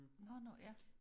Nå nå ja